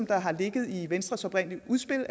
der har ligget i venstres oprindelige udspil